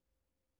DR P2 Klassisk